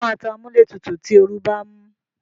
Ṣé o máa tan amúlétutù tí oru bá ń mú?